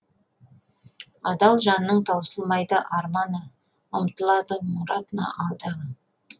адал жанның таусылмайды арманы ұмтылады мұратына алдағы